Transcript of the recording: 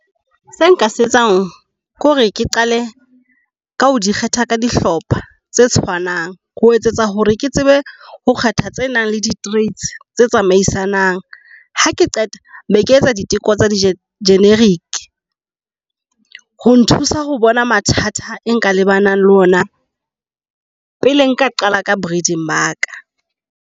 Se nka se etsang ke hore ke qale ka ho di kgetha ka dihlopha tse tshwanang ho etsetsa hore ke tsebe ho kgetha tse nang le di-traits tse tsamaisanang. Ha ke qeta beke etsa diteko tsa di-generic ho nthusa ho bona mathata e nka le ba nang le ona pele nka qala ka breeding ba ka.